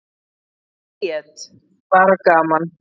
Bríet: Bara gaman.